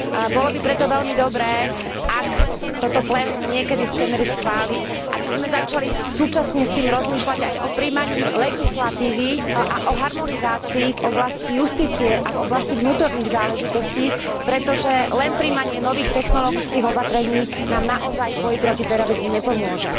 Bolo by preto veľmi dobré, ak toto plénum niekedy skenery schváli, aby sme začali súčasne s tým rozmýšľať aj o prijímaní legislatívy a o harmonizácii v oblasti justície a v oblasti vnútorných záležitostí, pretože len prijímanie nových technologických opatrení nám naozaj v boji proti terorizmu nepomôže.